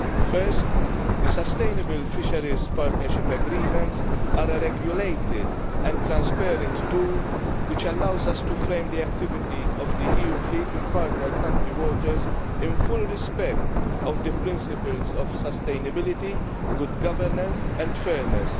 Firstly, the sustainable fisheries partnership agreements are a regulated and transparent tool which allows us to frame the activity of the EU fleet in partner country waters in full observance of the principles of sustainability, good governance and fairness.